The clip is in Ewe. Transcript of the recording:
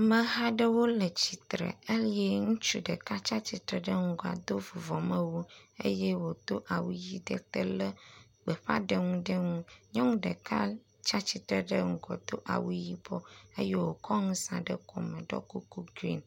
Ameha aɖewo le tsitre eye ŋutsu ɖeka tsatsitre ɖe ŋgɔa do vuvɔmewu eye wodo awu ɣi ɖe te le gbeƒãɖeŋu ɖe nu. Nyɔnu ɖeka tsatsitre ɖe ŋgɔ do awu yibɔ eye wokɔ ŋu saɖe kɔme ɖɔ kuku green,